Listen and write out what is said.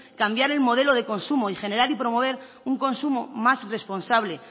cambiar el modelo de consumo y generar y promover un consumo más responsable